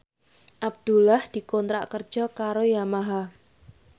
Abdullah dikontrak kerja karo Yamaha